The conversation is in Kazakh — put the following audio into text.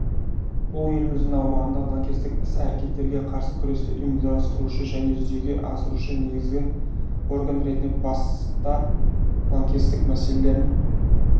бұл еліміздің аумағындағы лаңкестік іс-әрекеттерге қарсы күресті ұйымдастырушы және жүзеге асырушы негізгі орган ретінде баста лаңкестік мәселелерін